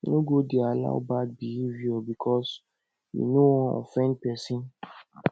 no go dey allow bad behavior bikos yu no wan offend pesin